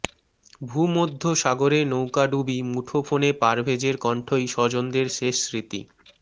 ভূমধ্যসাগরে নৌকা ডুবি মুঠোফোনে পারভেজের কণ্ঠই স্বজনদের শেষ স্মৃতি